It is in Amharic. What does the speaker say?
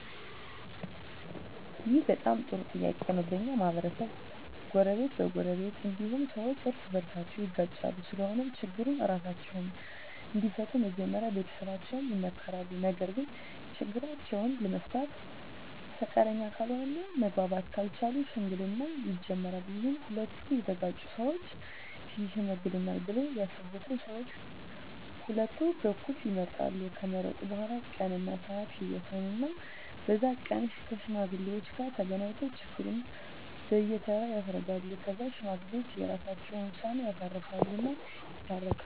ይህ በጣም ጥሩ ጥያቄ ነው በኛ ማህበረሰብ በጎረቤት እ በጎረቤት እንዲሁም ሠዎች እርስ በርሳቸው ይጋጫሉ ስለሆነም ችግሩን እራሳቸው እንዲፈቱ መጀመሪያ ቤተሠቦቻቸው ይመከራሉ ነገርግ ችግራቸውን ለመፍታት ፈቃደኛ ካልሆነ እና መግባባት ካልቻሉ ሽምግልና ይጀመራል ይህም ሁለቱ የተጋጩ ሠወች ይሽመግሉናል ብለው ያሠቡትን ሠዎች ቀሁለቱ በኩል ይመርጣሉ ከመረጡ በኋላ ቀን እና ስዓት ይወስኑ እና በዛ ቀን ከሽማግሌዎች ጋር ተገናኝተው ችግሩን በየ ተራ ያስረዳሉ ከዛ ሽማግሌዎች የራሰቸውን ውሳኔ ያሳርፉ እና ይታረቃሉ